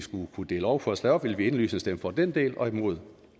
kunne dele lovforslaget op ville vi indlysende stemme for den del og imod